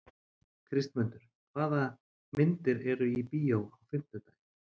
Kristmundur, hvaða myndir eru í bíó á fimmtudaginn?